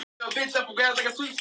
Hann er sjö ára.